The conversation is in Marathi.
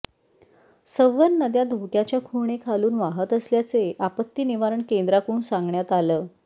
सवर् नद्या धोक्याच्या खुणेखालून वाहत असल्याचे आपत्ती निवारण केंद्राकडून सांगण्यात आलं